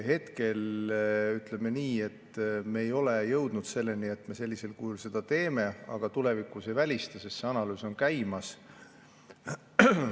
Hetkel, ütleme nii, me ei ole jõudnud selleni, et me sellisel kujul seda teeme, aga tulevikus me seda ei välista, sest analüüs on käimas.